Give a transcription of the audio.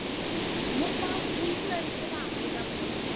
মোক বাৰু কোনটো angle ৰ পৰা আমেৰিকাৰ লাগে মোক কোৱা ?